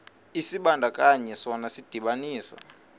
isibandakanyi sona sidibanisa